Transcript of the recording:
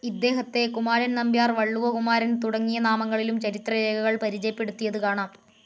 ഇദേഹത്തെ കുമാരൻ നമ്പ്യാർ വള്ളുവ കുമാരൻ തുടങ്ങിയ നാമങ്ങളിലും ചരിത്ര രേഖകൾ പരിചയപ്പെടുത്തിയത് കാണാം.